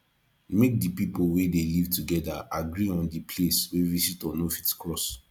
make di pipo wey de live together agree on di place wey visitor no fit cross